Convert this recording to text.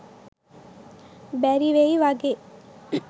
බැරිවෙයි වගේ.